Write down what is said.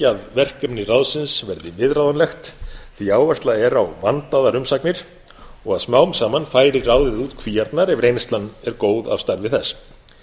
að verkefni ráðsins verði viðráðanlegt því að áhersla er á vandaðar umsagnir og að smám saman færi ráðið út kvíarnar ef reynslan er góð af starfi þess